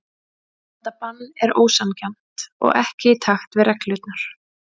Þetta bann er ósanngjarnt og ekki í takt við reglurnar.